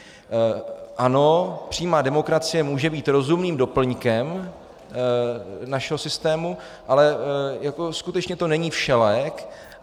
Ano, přímá demokracie může být rozumným doplňkem našeho systému, ale skutečně to není všelék.